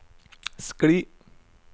skli